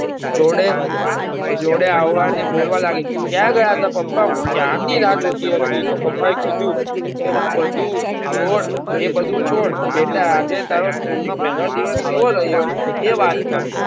જોડે જોડે આવવાની બોલવા લાગી કાયા ગયાતા પપ્પા હું ક્યારે ની રાહ જોતી હતી તો પપ્પાએ કીધું કે હુ બધું છોડ એ બધું છોડ બેટા આજે તારો School નો પહેલો દિવસ કેવો રહીયો એ વાત કર